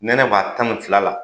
Nɛnɛ b'a tan ni fila la.